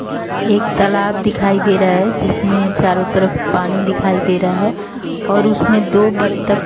एक तालाब दिखाई दे रहा है जिसमें चारों तरफ पानी दिखाई दे रहा है और उसमें दो बत्तख --